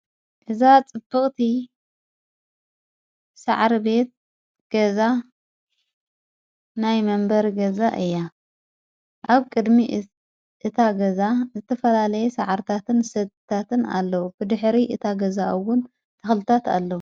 እዛ ጽፍቕቲ ሠዓሪ ቤት ገዛ ናይ መንበር ገዛ እያ ዓብ ቅድሚ እታገዛ ዝትፈላለየ ሠዓርታትን ሰታትን ኣለዉ ብድኅሪ እታገዛኡውን ተኽልታት ኣለዉ።